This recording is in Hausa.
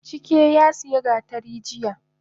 Chike yasiya gatari jiya